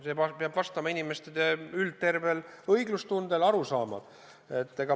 See peab vastama inimeste õiglustundele, tervetele arusaamadele.